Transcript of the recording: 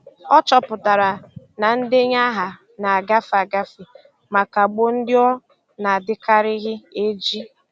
Ọ chọpụtara na ndenye aha na-agafe agafe ma kagbuo ndị ọ na-adịkarịghị eji.